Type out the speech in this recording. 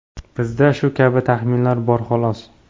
Bizda shu kabi taxminlar bor, xolos.